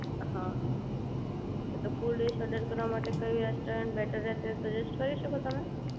હા તો full dish order કરવા માટે કયું રેસ્ટોરન્ટ બેટર રહેશે એ સજેસ્ટ કરી શકો તમે?